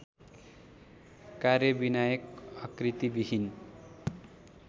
कार्यविनायक आकृतिविहीन